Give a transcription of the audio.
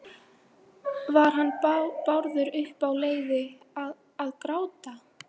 Var hann Bárður uppi á leiði- að- að gráta?